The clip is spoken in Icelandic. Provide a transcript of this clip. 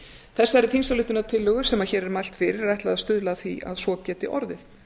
þessari þingsályktunartillögu sem hér er mælt fyrir er ætlað að stuðla að því að svo geti orðið